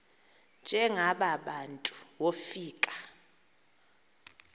njengaba bantu wofika